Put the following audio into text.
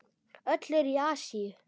Öll eru í Asíu.